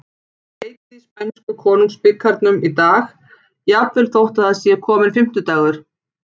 Það er leikið í spænsku Konungsbikarnum í dag, jafnvel þótt það sé kominn fimmtudagur.